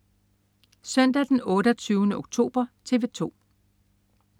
Søndag den 28. oktober - TV 2: